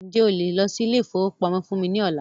Ǹjẹ́ o lè lọ sí ilé ìfọwọ́pamó fún mí ní ọ̀la?